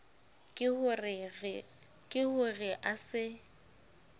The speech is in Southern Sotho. ke ho re a se